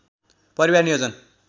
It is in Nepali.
परिवार नियोजन